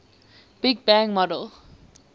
big bang model